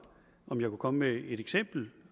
om jeg kunne komme med et eksempel